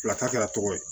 Fila ta kɛ tɔgɔ ye